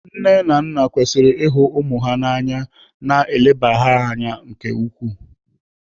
Nne na nna kwesịrị ihu ụmụ ha na anya ma na-elebara ha anya nke ukwuu.